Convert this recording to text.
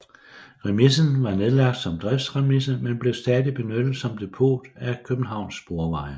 Remisen var nedlagt som driftsremise men blev stadig benyttet som depot af Københavns Sporveje